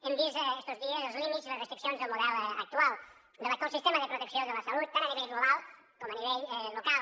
hem vist estos dies els límits i les restriccions del model actual de l’actual sistema de protecció de la salut tant a nivell global com a nivell local